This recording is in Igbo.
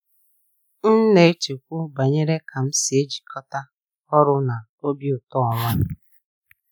M na-echekwu banyere ka m si ejikọta ọrụ na obi ụtọ onwe m.